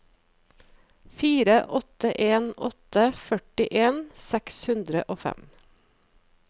fire åtte en åtte førtien seks hundre og fem